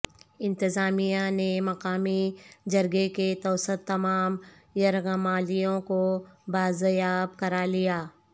انتظامیہ نے مقامی جرگے کے توسط تمام یرغمالیوں کو بازیاب کرا لیا